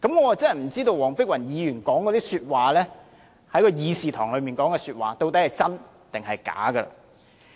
我真不知道黃碧雲議員在會議廳內說的話究竟孰真孰假。